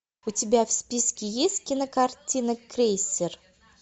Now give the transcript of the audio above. у тебя в списке есть кинокартина крейсер